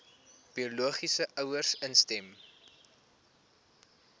biologiese ouers instem